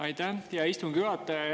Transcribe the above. Aitäh, hea istungi juhataja!